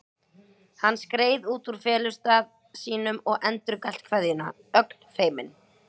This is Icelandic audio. Hann skreið út úr felustað sínum og endurgalt kveðjuna, ögn feiminn.